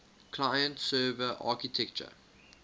client server architecture